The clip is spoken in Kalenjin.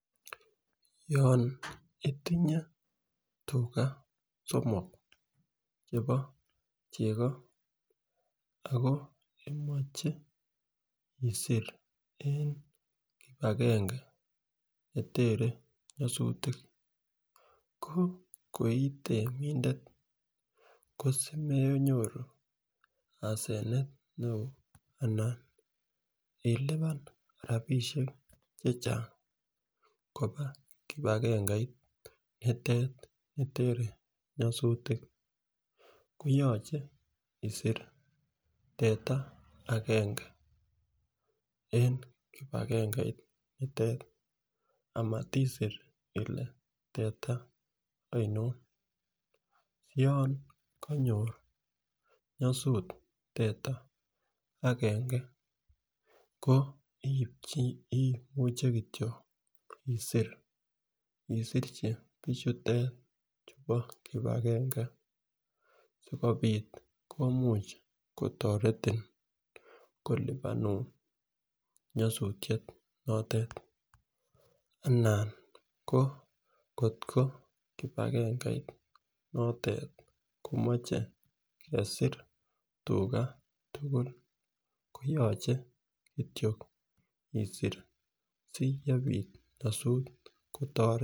Yon itinye tugaa somok chebo chego Ako imoche isir en kipagenge netere nyosutik ko koitemindet ko simenyoru asenet neo anan ilipan rabishek chechang koba kipagengeit nitet nitere nyosutik koyoche isir teta agenge en kipagengeit nitet amatisir ile teta oinon siyon konyor nyosut teta ko imuche kityok isir isirchi bichutet chubo kipagenge sikopit komuche kotoreti kolipanun nyosutyet notet anan kotko kipagengeit notet komoche kesie tugaa tukul koyoche kityok isir siyepit nyosut kotoreti.